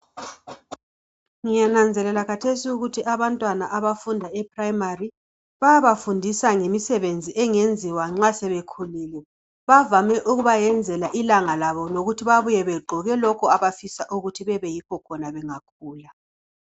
Ngiyananzelela khathesi ukuthi abantwana abafunda eprimary bayabafundisa ngemisebenzi engenziwa nxa sebekhulile bavame ukubayenzela ilanga lobo lokuthi babuye begqoke lokhu abafisa ukuthi bebeyikho khona bengakhula.